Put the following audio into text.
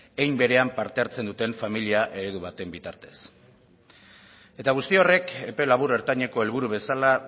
hein berean parte hartzen duten familia eredu baten bitartez eta guzti horrek epe labur ertaineko helburu bezala